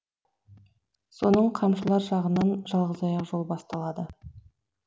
соның қамшылар жағынан жалғызаяқ жол басталады